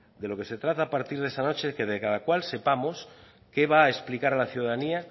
de lo que se trata a partir de esta noche que de cada cual sepamos qué va a explicar a la ciudadanía